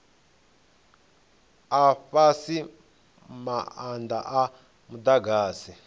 a fhasi maanda a mudagasi